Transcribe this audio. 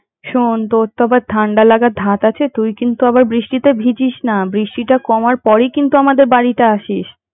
শোন্ তোর তো আবার ঠান্ডা লাগের ধাত আছে, তুই কিন্তু আবার বৃষ্টিতে ভিজিস না, বৃষ্টিটা কমার পরেই কিন্তু আমাদের বাড়িতে আসিস।